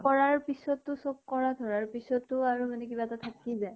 কৰাৰ পিছতটো আৰু মানে কিবা এটা থাকি যায়।